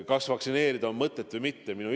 Kas vaktsineerida on mõtet või mitte?